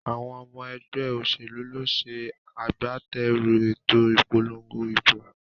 Àwon omo egbé òsèlú ló se agbáterù èto ìpolongo ìbò